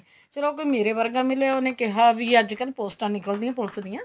ਚਲੋ ਕੋਈ ਮੇਰੇ ਵਰਗਾ ਮਿਲਿਆ ਉਹਨੇ ਕਿਹਾ ਵੀ ਅੱਜਕਲ ਪੋਸਟਾ ਨਿਕਲ ਦੀਆਂ ਪੁਲਸ ਦੀਆਂ